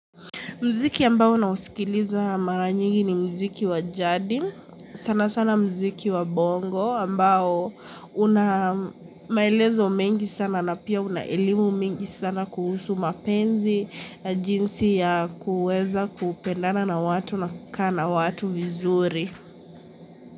Mziki ambao unausikiliza mara nyingi ni mziki wa jardi, sana sana mziki wa bongo ambao unamaelezo mengi sana na pia unaelimu mengi sana kuhusu mapenzi, jinsi ya kuweza kupendana na watu na kukaa na watu vizuri.